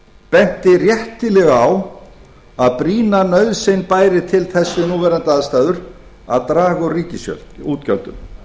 benti réttilega á að brýna nauðsyn bæri til þess við núverandi aðstæður að draga úr ríkisútgjöldum